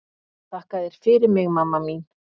Þakka þér fyrir mig mamma mín.